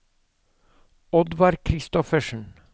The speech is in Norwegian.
Oddvar Kristoffersen